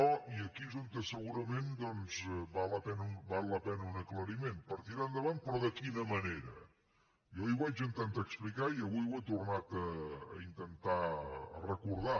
i aquí és on segurament doncs val la pena un aclariment per tirar endavant però de quina manera jo ahir ho vaig intentar explicar i avui ho he tornat a intentar recordar